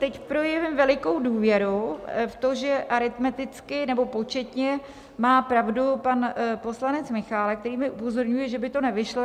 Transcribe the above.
Teď projevím velikou důvěru v to, že aritmeticky nebo početně má pravdu pan poslanec Michálek, který mě upozorňuje, že by to nevyšlo.